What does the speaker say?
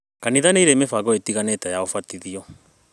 Kanitha nĩ irĩ mĩbango ĩtiganĩte ya ũbatithania